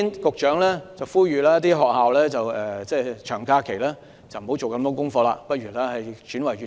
局長呼籲學校在長假期不要給學生大量功課，或轉為閱讀。